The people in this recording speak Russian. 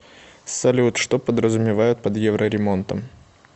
салют что подразумевают под евроремонтом